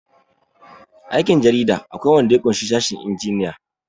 aikin jarida akwai wanda ya ƙushi sashen injiniyan